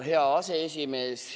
Hea aseesimees!